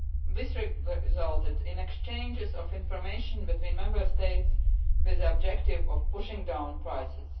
This resulted in exchanges of information between Member States with the objective of pushing down prices.